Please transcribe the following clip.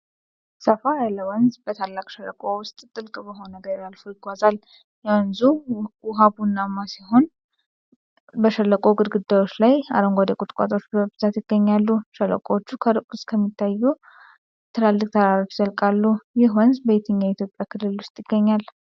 ሰፋ ያለ ወንዝ በታላቅ ሸለቆ ውስጥ ጥልቅ በሆነ ገደል አልፎ ይጓዛል። የወንዙ ውሃ ቡናማ ሲሆን በሸለቆው ግድግዳዎች ላይ አረንጓዴ ቁጥቋጦዎች በብዛት ይገኛሉ። ሸለቆዎቹ ከሩቅ እስከሚታዩት ትላልቅ ተራሮች ይዘልቃሉ። ይህ ወንዝ በየትኛው የኢትዮጵያ ክልል ውስጥ ይገኛል?